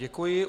Děkuji.